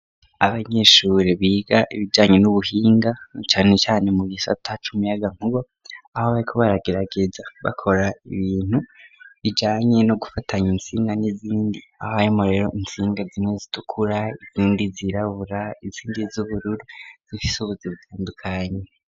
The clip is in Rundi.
Abanyeshure biga ibijanye n'ubuhinga, na cane cane mu gisata c'umuyagankuba, aho bariko baragerageza bakora ibintu bijanye no gufatanya intsinga n'izindi, aho harimwo rero intsinga zimwe zitukura, izindi zirabura, izindi z'ubururu zifise ubuzi bitandukanye.